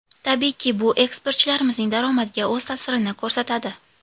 Tabiiyki, bu eksportchilarimizning daromadiga o‘z ta’sirini ko‘rsatadi.